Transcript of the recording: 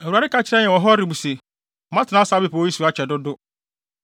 Awurade ka kyerɛɛ yɛn wɔ Horeb se: “Moatena saa bepɔw yi so akyɛ dodo.